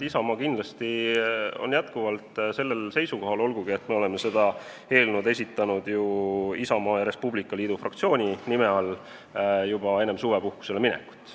Isamaa on kindlasti endiselt sellel seisukohal, olgugi et me oleme selle eelnõu esitanud ju Isamaa ja Res Publica Liidu fraktsiooni nime all juba enne suvepuhkusele minekut.